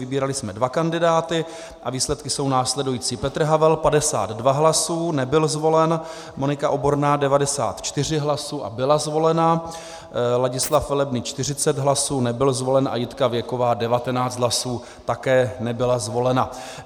Vybírali jsme dva kandidáty a výsledky jsou následující: Petr Havel 52 hlasů, nebyl zvolen, Monika Oborná 94 hlasů a byla zvolena, Ladislav Velebný 40 hlasů, nebyl zvolen, a Jitka Věková 19 hlasů, také nebyla zvolena.